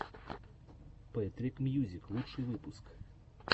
пэтрик мьюзик лучший выпуск